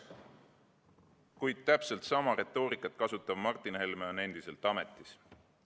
Kuid täpselt sama retoorikat kasutav Martin Helme on endiselt ametis.